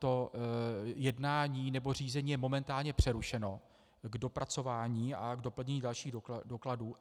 To jednání - nebo řízení je momentálně přerušeno k dopracování a k doplnění dalších dokladů.